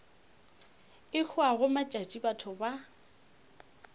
e hwago matšatši batho ba